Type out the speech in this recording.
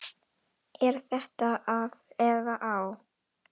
Er þetta af eða á?